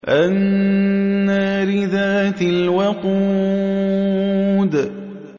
النَّارِ ذَاتِ الْوَقُودِ